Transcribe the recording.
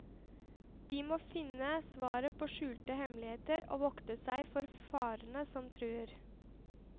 De må finne svaret på skjulte hemmeligheter og vokte seg for farer som truer.